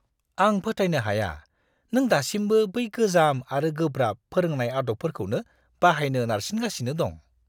आं फोथायनो हाया नों दासिमबो बै गोजाम आरो गोब्राब फोरोंनाय आदबफोरखौनो बाहायनो नारसिनगासिनो दं!